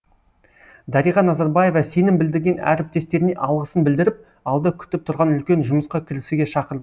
дариға назарбаева сенім білдірген әріптестеріне алғысын білдіріп алда күтіп тұрған үлкен жұмысқа кірісуге шақырды